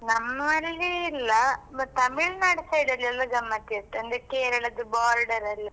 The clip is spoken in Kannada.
ನಮ್ಮಲ್ಲಿ ಇಲ್ಲ but Tamil Nadu side ಅಲ್ಲಿ ಎಲ್ಲಾ ಗಮ್ಮತ್ ಇರ್ತದೆ, ಅಂದ್ರೆ Kerala ದು border ಅಲ್ಲ.